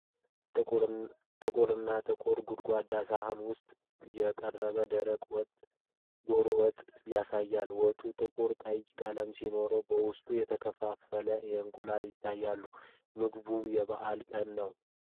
ጥልቅና ጥቁር ጎድጓዳ ሳህን ውስጥ የቀረበ ደረቅ ወጥ (ዶሮ ወጥ/ድፎ) ያሳያል። ወጡ ጥቁር ቀይ ቀለም ሲሆን፣ በውስጡ የተከተፉ እንቁላሎች ይታያሉ። ምግቡ የበዓል ቀን ነው?